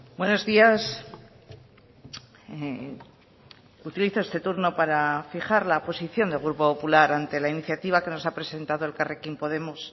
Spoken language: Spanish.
buenos días utilizo este turno para fijar la posición del grupo popular ante la iniciativa que nos ha presentado elkarrekin podemos